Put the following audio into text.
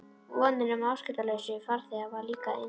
Vonin um afskiptalausa farþega varð líka að engu.